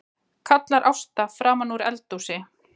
kallar Ásta framanúr eldhúsi.